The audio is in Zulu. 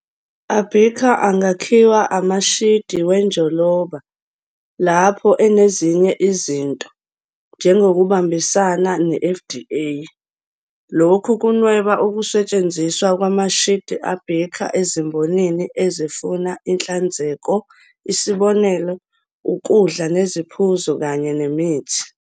Abicah angakhiwa amashidi wenjoloba, lapho enezinye izinto, njengokuhambisana ne-FDA. Lokhu kunweba ukusetshenziswa kwamashidi abicah ezimbonini ezifuna inhlanzeko, isibonelo, ukudla neziphuzo kanye nemithi.